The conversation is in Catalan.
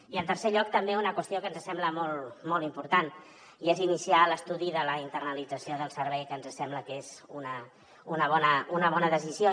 i en tercer lloc també una qüestió que ens sembla molt important i és iniciar l’estudi de la internalització del servei que ens sembla que és una bona decisió